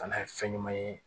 Kana ye fɛn ɲuman ye